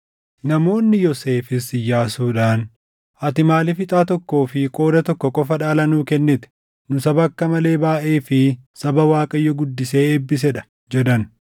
Namoonni Yoosefis Iyyaasuudhaan, “Ati maaliif ixaa tokkoo fi qooda tokko qofa dhaala nuu kennite? Nu saba akka malee baayʼee fi saba Waaqayyo guddisee eebbisee dha” jedhan.